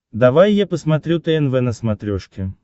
давай я посмотрю тнв на смотрешке